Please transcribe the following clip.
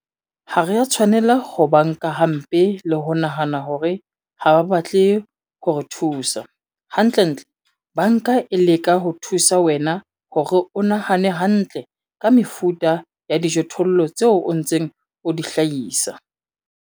Ha re a tshwanela ho ba nka hampe le ho nahana hore ha ba batle ho re thusa - hantlentle banka e leka ho thusa wena hore o nahane hantle ka mefuta ya dijothollo tseo o ntseng o di hlahisa.